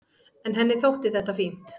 En henni þótti þetta fínt.